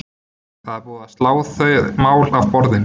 Það er búið slá þau mál af borðinu.